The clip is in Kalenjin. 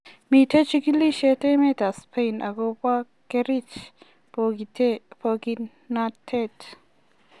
Miten chikilishet emet ab spain ako ba kerich pokinatet